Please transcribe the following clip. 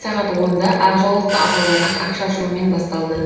сағат онда ақ жаулықты апаларға ақ шашуымен басталды